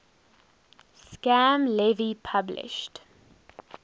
sam levy published